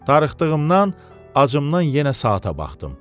Darıxdığımdan, acımdan yenə saata baxdım.